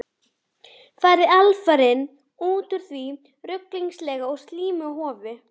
Farið alfarinn út úr því ruglingslega og slímuga hofi.